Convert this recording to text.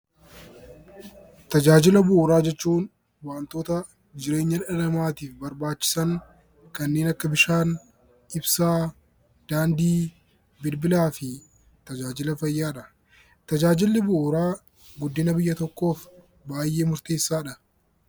Tajaajila bu'uuraa jechuun waantota jireenya dhala namaatiif barbaachisan kanneen akka bishaan, ibsaa, daandii, bilbilaa fi tajaajila fayyaadha. Tajaajilli bu'uuraa guddina biyya tokkoof baay'ee murteessaadha.